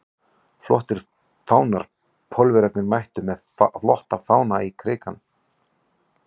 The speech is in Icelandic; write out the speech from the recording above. Flottir fánar Pólverjarnir mættu með flotta fána í Krikann.